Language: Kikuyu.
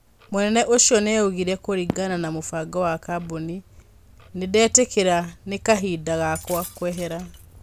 Mũnene ũcio nĩ augire. Kũrĩngana na mũbango wa kabuni, nĩndetĩkĩra nĩ kahinda gakwa kwehera.